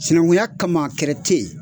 Sinankuya kama kɛrɛ te yen.